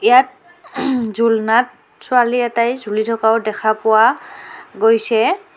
ইয়াত ঝুলনাত ছোৱালী এটাই ঝুলি থকাও দেখা পোৱা গৈছে.